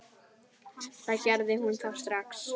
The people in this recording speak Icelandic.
Það gerði hún þá strax.